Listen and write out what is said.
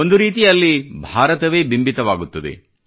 ಒಂದು ರೀತಿ ಅಲ್ಲಿ ಭಾರತವೇ ಬಿಂಬಿತವಾಗುತ್ತದೆ